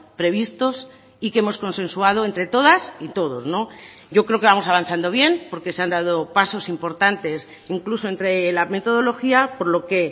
previstos y que hemos consensuado entre todas y todos yo creo que vamos avanzando bien porque se han dado pasos importantes incluso entre la metodología por lo que